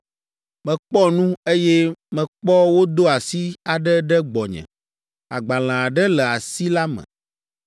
Mekpɔ nu, eye mekpɔ wodo asi aɖe ɖe gbɔnye. Agbalẽ aɖe le asi la me.